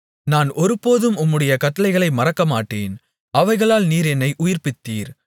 நான் ஒருபோதும் உம்முடைய கட்டளைகளை மறக்கமாட்டேன் அவைகளால் நீர் என்னை உயிர்ப்பித்தீர்